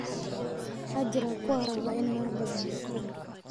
Waxaa jira kuwa raba inay wax badan bartaan